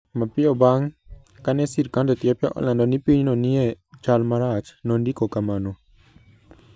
Mapiyo bang ' kane sirkand Ethiopia olando ni pinyno nie chal marach, nondiko kama: